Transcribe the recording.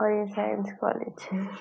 और ये science college है।